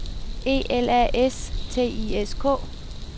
E L A S T I S K